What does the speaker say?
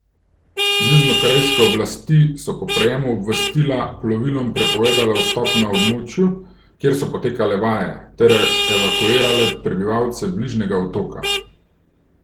Južnokorejske oblasti so po prejemu obvestila plovilom prepovedale vstop na območju, kjer so potekale vaje, ter evakuirale prebivalce bližnjega otoka.